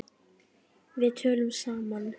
Við töluðum saman.